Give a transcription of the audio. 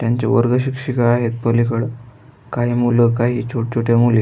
त्यांच्या वर्गशिक्षिका आहेत पलिकड काही मूल काही छोट छोट्या मुली --